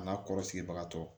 A n'a kɔrɔ sigibagatɔ